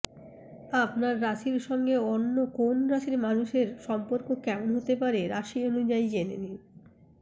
আপনার রাশির সঙ্গে অন্য কোন রাশির মানুষের সম্পর্ক কেমন হতে পারে রাশি অনুযায়ী জেনে নিন